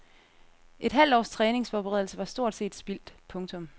Et halvt års træningsforberedelse var stort set spildt. punktum